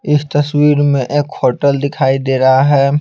इस तस्वीर में एक हॉटेल दिखाई दे रहा है।